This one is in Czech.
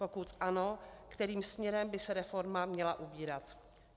Pokud ano, kterým směrem by se reforma měla ubírat?